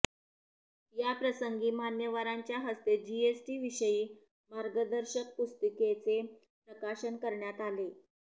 याप्रसंगी मान्यवरांच्या हस्ते जीएसटी विषयी मार्गदर्शक पुस्तिकेचे प्रकाशन करण्यात आले